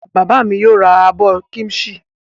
Bàbá mi yóò ra abọ́ kíḿṣì.